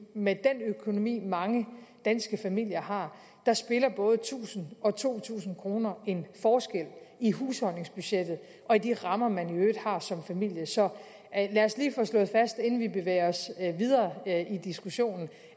med den økonomi mange danske familier har spiller både tusind og to tusind kroner en forskel i husholdningsbudgettet og i de rammer man i øvrigt har som familie så lad os lige få slået fast inden vi bevæger os videre i diskussionen